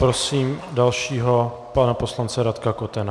Prosím dalšího, pana poslance Radka Kotena.